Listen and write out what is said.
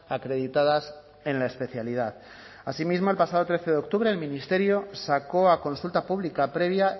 acreditadas en la especialidad asimismo el pasado trece de octubre el ministerio sacó a consulta pública previa